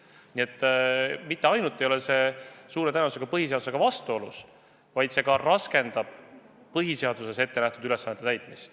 Nii et see eelnõu mitte ainult ei ole suure tõenäosusega põhiseadusega vastuolus, vaid see ka raskendab põhiseaduses ettenähtud ülesannete täitmist.